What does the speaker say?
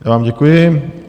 Já vám děkuji.